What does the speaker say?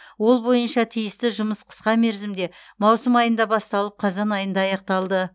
ол бойынша тиісті жұмыс қысқа мерзімде маусым айында басталып қазан айында аяқталды